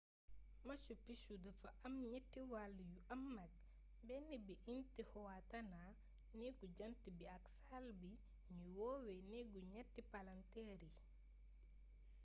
machu picchu dafa am ñatti wàll yu am mag benn bi di intihuatana néegu jant bi ak saal bi ñuy woowe néegu ñatti palanteer yi